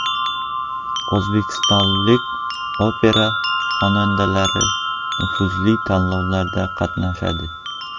O‘zbekistonlik opera xonandalari nufuzli tanlovda qatnashadi.